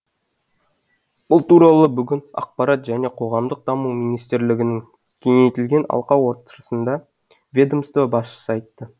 бұл туралы бүгін ақпарат және қоғамдық даму министрлігінің кеңейтілген алқа отырысында ведомство басшысы айтты